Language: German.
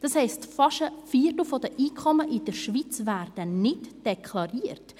Das heisst, fast ein Viertel der Einkommen in der Schweiz werden nicht deklariert!